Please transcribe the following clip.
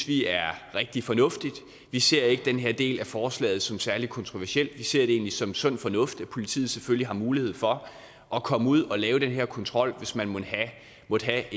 vi er rigtig fornuftigt vi ser ikke den her del af forslaget som særlig kontroversielt vi ser det egentlig som sund fornuft at politiet selvfølgelig har mulighed for at komme ud og lave den her kontrol hvis man måtte have